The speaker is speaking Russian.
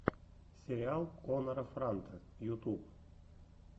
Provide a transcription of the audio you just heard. сериал коннора франта ютуб